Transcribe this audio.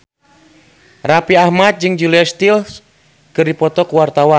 Raffi Ahmad jeung Julia Stiles keur dipoto ku wartawan